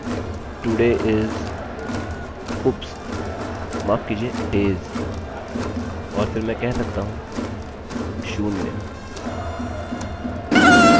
अतः उदाहरणस्वरूप यदि मैं कह रहा था echo today is oops माफ किजिए days और फिर मैं कह सकता हूँ शून्य